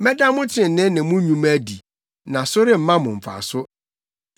Mɛda mo trenee ne mo nnwuma adi, na so remma mo mfaso.